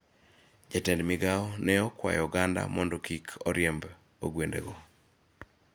Jatend migao ne okwayo oganda mondo kik oriemb ogwendego.